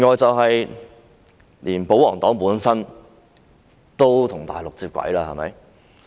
此外，連保皇黨本身都與內地接軌了。